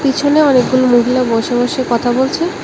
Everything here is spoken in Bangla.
পিছনে অনেকগুলো মহিলা বসে বসে কথা বলছে।